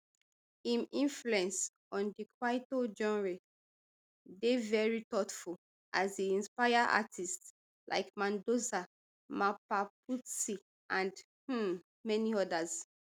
im influence on di kwaito genre dey very thoughtful as e inspire artists like mandoza mapaputsi and um many odas